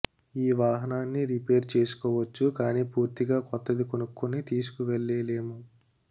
ఈ వాహనాన్ని రిపేర్ చేసుకోవచ్చు కానీ పూర్తిగా కొత్తది కొనుక్కొని తీసుకువెళ్లేలేము